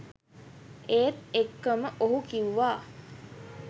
ඒත් එක්කම ඔහු කිව්වා